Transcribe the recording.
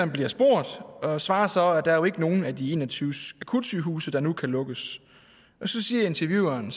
bliver spurgt og svarer så at der ikke er nogen af de en og tyve akutsygehuse der nu kan lukkes og så siger intervieweren